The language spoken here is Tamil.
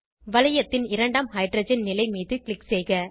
வளையத்தின் இரண்டாம் ஹைட்ரஜன் நிலை மீது க்ளிக் செய்க